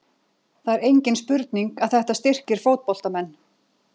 Það er engin spurning að þetta styrkir fótboltamenn.